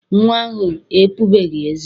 Nnwa ahụ epubeghị eze.